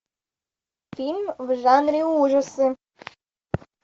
фильм в жанре ужасы